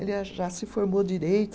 Ele a já se formou direito.